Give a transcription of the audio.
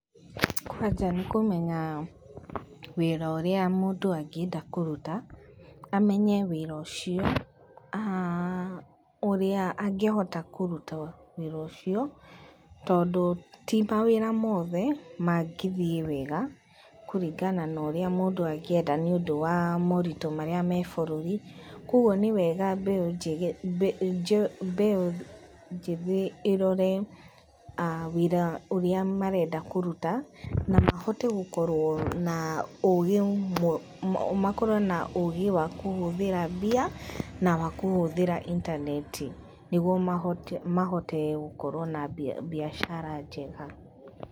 Kwanja nĩkũmenya wĩra ũria mũndũ angĩenda kũrũta amenye wĩra ũcio ũrĩa angĩhota kũrũta wĩra ũcio tondũ tĩ mawĩra mothe mangĩthie wega kũringana na ũrĩa mũndũ angĩenda nĩ ũndũ wa maũritũ marĩa me bũrũri kwa ũgũo nĩ wega mbeũ njĩthĩ ĩrore wĩra ũria marenda kũrũta na mahote gũkorwo na ũgĩ makorwo na ũgĩ wa kũhũthĩra mbia na wakũhũthíĩra intaneti nĩgũo mahote gũkorwo na biashara njega.